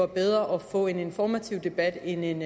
bedre få en informativ debat end en